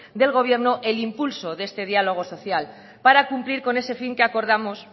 del gobierno el impulso de este diálogo social para cumplir con ese fin que acordamos